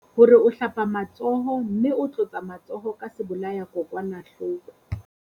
Hore o hlapa matsoho mme o tlotsa matsoho ka sebolayakokwanahloko.